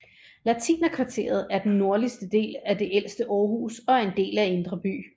Latinerkvarteret er den nordligste del af det ældste Aarhus og er en del af Indre By